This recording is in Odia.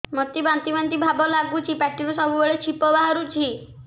ମୋତେ ବାନ୍ତି ବାନ୍ତି ଭାବ ଲାଗୁଚି ପାଟିରୁ ସବୁ ବେଳେ ଛିପ ବାହାରୁଛି